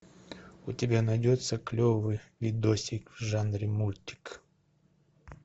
у тебя найдется клевый видосик в жанре мультик